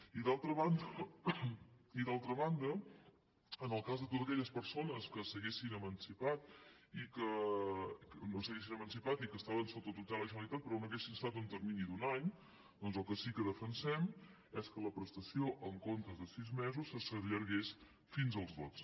i d’altra banda en el cas de totes aquelles persones que no s’haguessin emancipat i que estaven sota tutela de la generalitat però no hi haguessin estat en un termini d’un any doncs el que sí que defensem és que la prestació en comptes de sis mesos s’allargués fins als dotze